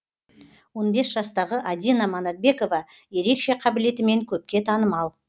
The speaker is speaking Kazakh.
он бес жастағы адина манатбекова ерекше қабілетімен көпке танымал